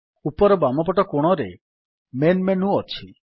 ଉପର ବାମପଟ କୋଣରେ ମେନ୍ ମେନୁ ଅଛି